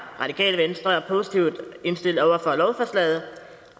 radikale venstre positivt indstillet over for lovforslaget